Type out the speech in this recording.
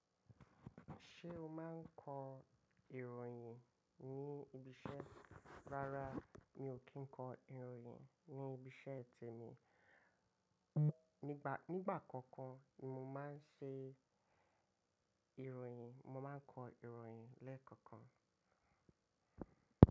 Ṣé o máa ń kọ ìròyìn ní ibi iṣẹ́? Rárá, mi ò kí ń kọ ìròyìn ní ibi iṣẹ́ tèmi. Nígbà, nígbà kankan ni mo máa ń ṣe ìròyìn, mo máa ń kọ ìròyìn lẹ́ẹ̀kọ̀kan.